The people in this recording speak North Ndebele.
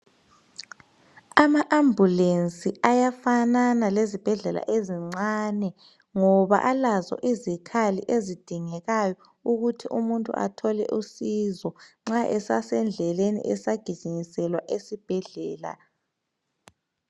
Ama ambulensi ayafanana lezibhedlela ezincane ngoba alazo izikhali ezidingekayo ukuthi umuntu athole usizo nxa esasendleleni esagijinyiselwa esibhedlela.